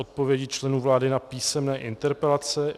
Odpovědi členů vlády na písemné interpelace